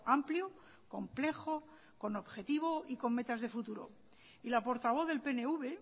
amplio complejo con objetivo y con metas de futuro y la portavoz del pnv